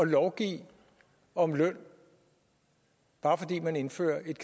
lovgive om løn bare fordi man indfører et